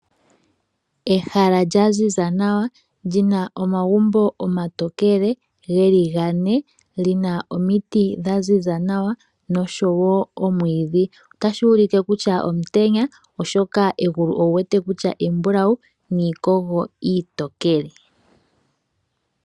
Ehala lya ziza nawa lyi na omagumbo omatokele geli gane, li na omiti dha ziza nawa noshowo omwiidhi otashi ulike kutya omutenya oshoka egulu owu wete kutya embulawu niikogo iitokele.